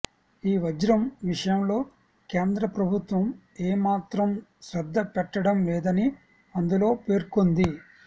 ఈ వజ్రం విషయంలో కేంద్ర ప్రభుత్వం ఏమాత్రం శ్రద్ద పెట్టడం లేదని అందులో పేర్కొంది